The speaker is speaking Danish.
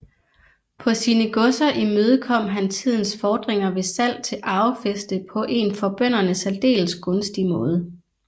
På sine godser imødekom han tidens fordringer ved salg til arvefæste på en for bønderne særdeles gunstig måde